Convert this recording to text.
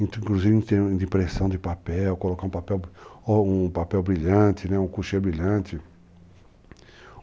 Inclusive em termos de impressão de papel, colocar um papel o um papel brilhante, né, um couchê brilhante.